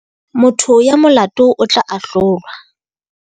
Motho ya molato o tla ahlolwa.